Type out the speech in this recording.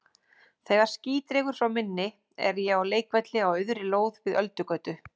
Þegar ský dregur frá minni er ég á leikvelli á auðri lóð við Öldugötu.